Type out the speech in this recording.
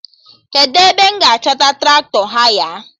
Kedụ ebe m ga-achọta Traktọ haya?